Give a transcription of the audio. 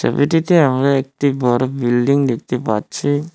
আমরা একটি বড় বিল্ডিং দেখতে পাচ্ছি।